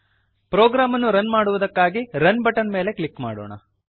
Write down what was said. program ಅನ್ನು run ಮಾಡುವುದಕ್ಕಾಗಿ run button ಮೇಲೆ ಕ್ಲಿಕ್ ಮಾಡೋಣ